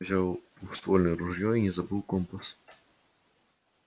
взял двуствольное ружьё и не забыл компас